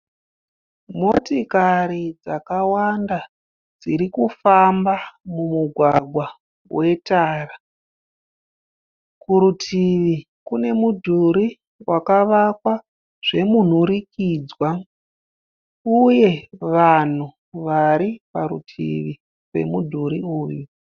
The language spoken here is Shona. Motikari dzakawanda dzirikufamba mumugwagwa wetara. Kurutivi kune mudhuri wakavakwa zvemunhurikidzwa uye vanhu variparutivi pemudhuri uyu.